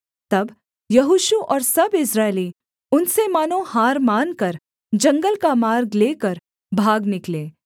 तब यहोशू और सब इस्राएली उनसे मानो हार मानकर जंगल का मार्ग लेकर भाग निकले